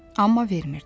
Amma vermirdi.